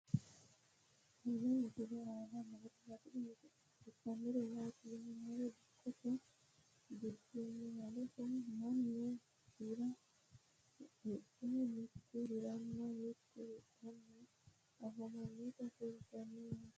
tenne misile aana noorina tini misile xawissannori maati yinummoro dikkotte gudummaallira mannu Hira adhe mitu hiranna mitu hidhanni afammannotta kulittanno yaatte